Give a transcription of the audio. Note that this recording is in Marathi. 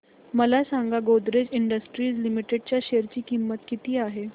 मला सांगा गोदरेज इंडस्ट्रीज लिमिटेड च्या शेअर ची किंमत किती आहे